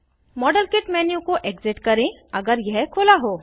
model kit menu को exit करें अगर यह खुला हो